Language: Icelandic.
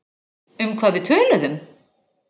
Um hvað við töluðum?